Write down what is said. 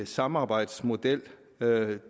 samarbejdsmodel